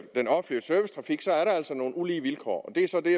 nogle ulige vilkår